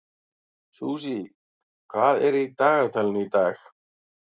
Susie, hvað er í dagatalinu í dag?